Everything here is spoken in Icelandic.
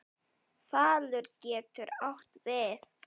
Falur getur átt við